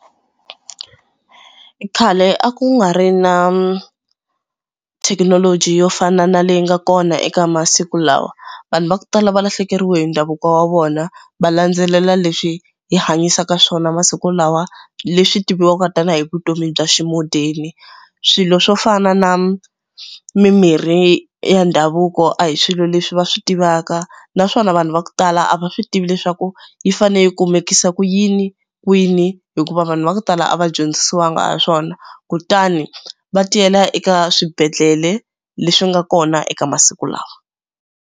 Khale a ku nga ri na thekinoloji yo fana na leyi nga kona eka masiku lawa. Vanhu va ku tala va lahlekeriwe hi ndhavuko wa vona va landzelela leswi hi hanyisaka swona masiku lawa leswi tiviwaka tanihi vutomi bya xi-modern-i. Swilo swo fana na mimirhi ya ndhavuko a hi swilo leswi va swi tivaka naswona vanhu va ku tala a va swi tivi leswaku yi fanele yi kumekisa ku yini kwini hikuva vanhu va ku tala a va dyondzisiwangi ha swona kutani va tiyela eka swibedhlele leswi nga kona eka masiku lawa.